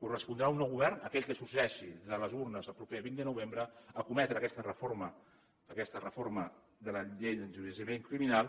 correspondrà a un nou govern a aquell que sorgeixi de les urnes el proper vint de novembre emprendre aquesta reforma de la llei d’enjudiciament criminal